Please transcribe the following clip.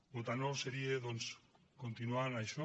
votar no seria doncs continuar en això